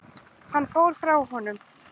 Hann fór frá honum.